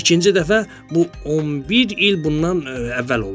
İkinci dəfə bu 11 il bundan əvvəl olub.